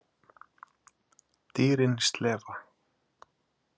Dýrin slefa.